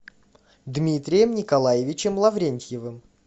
дмитрием николаевичем лаврентьевым